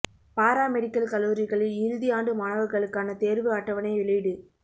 பாரா medical கல்லூரிகளில் இறுதி ஆண்டு மாணவா்களுக்கான தோ்வு அட்டவணை வெளியீடு